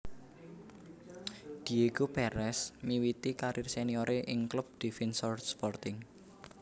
Diego Pérez miwiti karir senioré ing klub Defensor Sporting